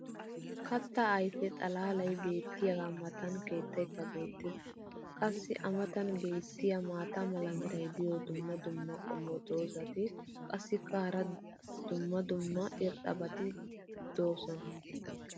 kata ayfe xalaalay beetiyaagaa matan keettaykka beetees. qassi a matan beetiya maata mala meray diyo dumma dumma qommo dozzati qassikka hara dumma dumma irxxabati doosona.